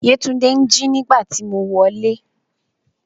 Yetunde n ji nígbàtí mo wolẹ́.